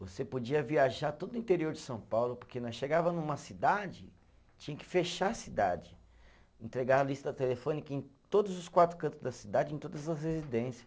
Você podia viajar todo o interior de São Paulo, porque nós chegava numa cidade, tinha que fechar a cidade, entregar a lista telefônica em todos os quatro cantos da cidade, em todas as residência.